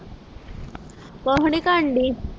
ਕੁਜਨੀ ਕਰੰਦੇ